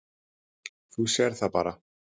Þú sérð það bara.